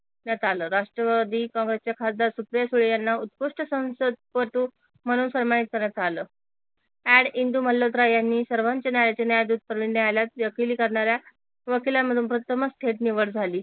आल राष्ट्रवादी काँग्रेस चे खासदार सुप्रिया सुळे यांना उत्कृष्ट संसदपटू म्हणून सन्मानित करण्यात आल AD इंदू मल्होत्रा यांनी सर्वंउच्च न्यायालय वकिली दुघ करणाऱ्या वकिलामधूनन्यायालय थेट निवड झाली